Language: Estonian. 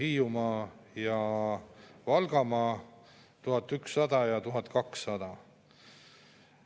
Sest valitsusel on hirmus kiire selle seaduseelnõu vastuvõtmisega, menetlemist alustati 11. mail ja 17. mail toimus esimene lugemine.